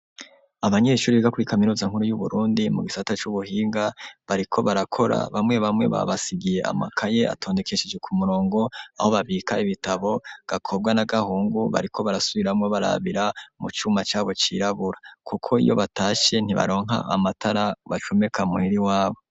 Abanyeshuri biga kuri kaminuza nkuru y'Uburundi mu gisata c'ubuhinga bariko barakora bamwe bamwe babasigiye amakaye atondekesheje kumurongo aho babika ibitabo gakobwa n'agahungu bariko barasubiramwo barabira mu cuma cabo cirabura kuko iyo batashe ntibaronka amatara bacumeka muhera iwabo.